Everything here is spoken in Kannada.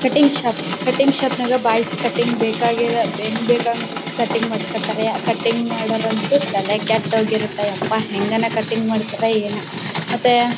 ಕಟಿಂಗ್ ಶಾಪ್ ಕಟಿಂಗ್ ಶಾಪ್ ನಾಗ ಬಾಯ್ಸ್ ಕಟಿಂಗ್ ಬೇಕಾಗಿರೋ ಹೆಂಗ್ ಬೇಕ್ ಹಂಗ್ ಕಟಿಂಗ್ ಮಾಡ್ಕೋತಾರೆ ಆ ಕಟಿಂಗ್ ಮಾಡೋರಿಗೆ ಅಂತೂ ತಲೆ ಕೆಟ್ಟ್ ಹೋಗಿರುತ್ತೆ ಯಪ್ಪಾ ಹೆಂಗಾನ ಕಟಿಂಗ್ ಮಾಡ್ತಾರೋ ಏನೋ ಮತ್ತೆ--